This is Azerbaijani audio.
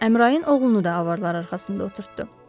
Əmrain oğlunu da avarlar arxasında oturtdu.